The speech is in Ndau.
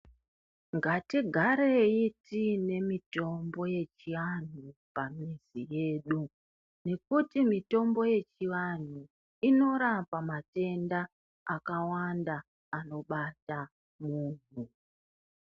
Ngatigarei tine mitombo yechianhu pamizi yedu nekuti mitombo yechivanhu inorapa matenda akawanda anobata munhu.